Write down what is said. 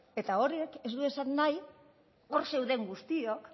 eta horrek ez du esan nahi hor zeuden guztiok